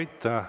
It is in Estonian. Aitäh!